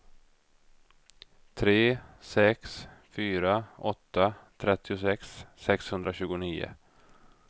tre sex fyra åtta trettiosex sexhundratjugonio